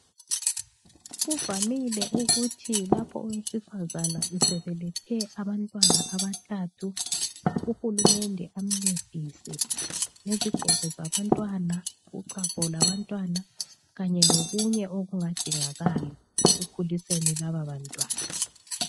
Kuvamile ukuthi lapho owesifazana sebelethe abantwana abathathu, uhulumende amcedise ngezigqoko zabantwana, uchago lwabantwana Kanye lokunye okungadingakala ekukhuliseni laba bantwana.